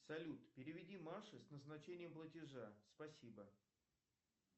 салют переведи маше с назначением платежа спасибо